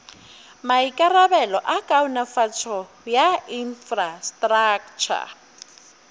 maikarabelo a kaonafatšo ya infrastraktšha